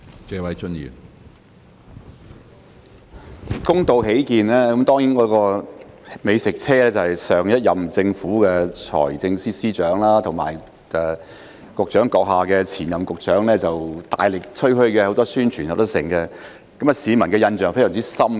公道起見，美食車是上一任政府的財政司司長及局長閣下的前任局長大力吹噓的，有很多宣傳，市民的印象非常深刻。